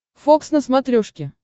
фокс на смотрешке